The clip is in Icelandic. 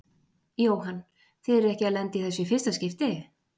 Jóhann: Þið eruð ekki að lenda í þessu í fyrsta skipti?